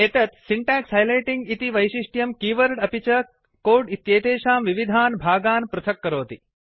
एतत् syntax highlighting इति वैशिष्ट्यं कीवर्ड अपि च कोड् इत्येतेषां विविधान् भागान् पृथक् करोति